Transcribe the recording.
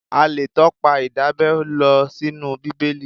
A lè tọpa Ìdábẹ́ lọ sínú Bíbélì.